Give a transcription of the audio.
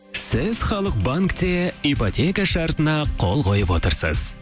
сіз халық банкте ипотека шартына қол қойып отырсыз